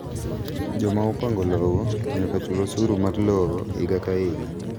Joma opango lowo nyaka chul osuru mar lowo higa ka higa.